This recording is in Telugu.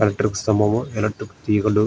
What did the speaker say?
ఎలక్ట్రిక్ స్తంభం ఎలెట్రిక్ తీగలు.